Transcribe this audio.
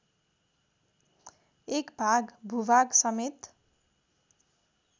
एक भाग भूभागसमेत